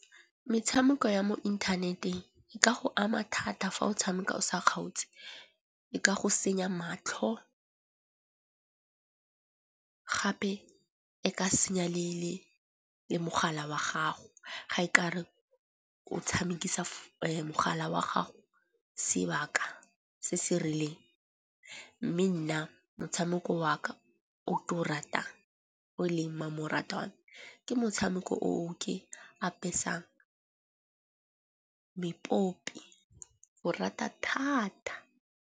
Metshameko ya mo inthaneteng e ka go ama thata fa o tshameka o sa kgaotse. E ka go senya matlho gape e ka senya le mogala wa gago ga e ka re o tshamekisana mogala wa gago sebaka se se rileng. Mme nna motshameko wa ka o ke o ratang o leng mmamoratwa ke motshameko o ke apesang mepopi. Ko rata thata.